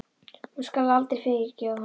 Hún skal aldrei fyrirgefa honum það.